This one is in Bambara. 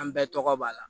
An bɛɛ tɔgɔ b'a la